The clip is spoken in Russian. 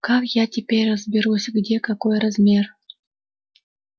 как я теперь разберусь где какой размер